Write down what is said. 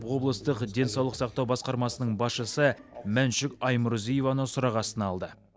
облыстық денсаулық сақтау басқармасының басшысы мәншүк аймұрзиеваны сұрақ астына алды